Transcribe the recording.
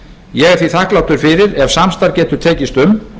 ég er því þakklátur fyrir ef samstarf getur tekist um